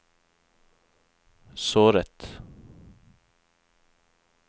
såret